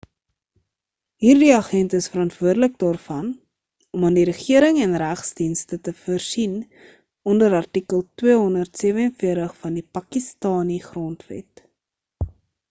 hierdie agente is verantwoordelik daarvoor om aan die regering en regsdienste te voorsien onder artikel 247 van die pakistani grondwet